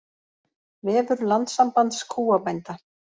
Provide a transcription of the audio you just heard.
Vefur Landssambands kúabænda